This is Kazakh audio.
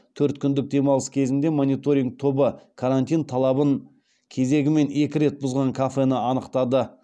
төрт күндік демалыс кезінде мониторинг тобы карантин талабын кезегімен екі рет бұзған кафені анықтады